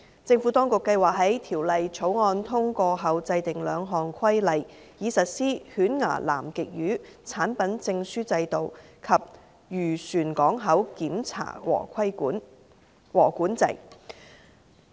政府當局計劃在《條例草案》通過後制訂兩項規例，以實施犬牙南極魚產品證書制度及漁船港口檢查和管制。